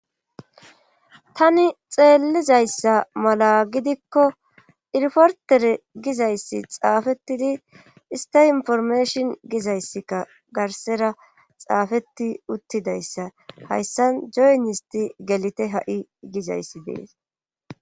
Tani xeelizayssa mala gidikko iriportere gizayssi xaafettidi ista informashon gizayssikka garsera xaafetti uttidayssa hayssan joyn isti gelite ha7i gizayssi dees